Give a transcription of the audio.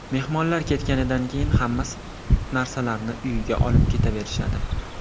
Mehmonlar ketganidan keyin hammasi narsalarini uyiga olib ketaverishadi.